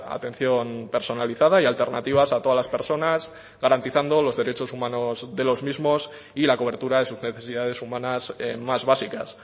atención personalizada y alternativas a todas las personas garantizando los derechos humanos de los mismos y la cobertura de sus necesidades humanas más básicas